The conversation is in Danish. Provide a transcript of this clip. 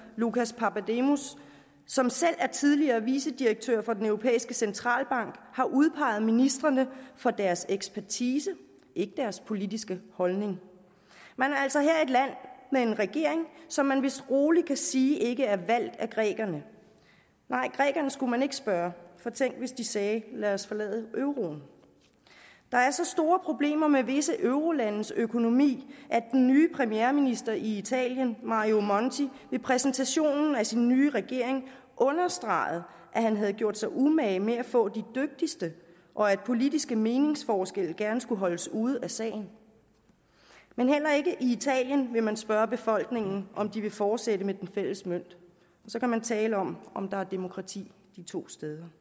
lucas papademos som selv er tidligere vicedirektør for den europæiske centralbank har udpeget ministrene for deres ekspertise ikke deres politiske holdning man har altså her et land med en regering som man vist roligt kan sige ikke er valgt af grækerne nej grækerne skulle man ikke spørge for tænk hvis de sagde lad os forlade euroen der er så store problemer med visse eurolandes økonomi at den nye premierminister i italien mario monti ved præsentationen af sin nye regering understregede at han havde gjort sig umage med at få de dygtigste og at politiske meningsforskelle gerne skulle holdes ude af sagen men heller ikke i italien vil man spørge befolkningen om de vil fortsætte med den fælles mønt så kan man tale om om der er demokrati de to steder